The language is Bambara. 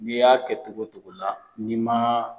N'i y'a kɛ togo togo la ni ma